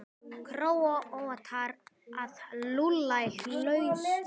Króatar að lulla í hlutlausum?